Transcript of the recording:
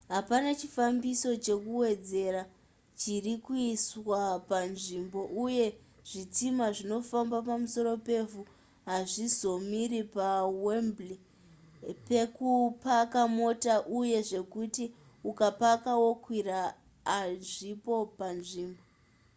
hapana chifambiso chekuwedzera chiri kuiswa panzvimbo uye zvitima zvinofamba pamusoro pevhu hazvizomiri pawembley pekupaka mota uye zvekuti ukapaka okwira hazvipo panzvimbo